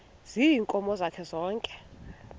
ziinkomo zakhe zonke